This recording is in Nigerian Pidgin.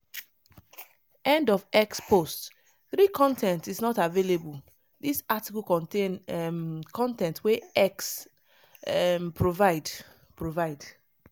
end of x post 3 con ten t is not available dis article contain um con ten t wey x um provide. provide.